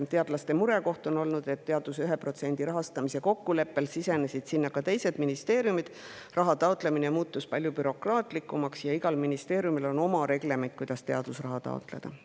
Teadlaste murekoht on olnud, et teaduse 1% rahastamise kokkuleppe puhul sinna ka teised ministeeriumid, raha taotlemine muutus palju bürokraatlikumaks ja igal ministeeriumil on oma reglement, kuidas teadusraha taotleda.